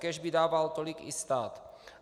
Kéž by dával tolik i stát.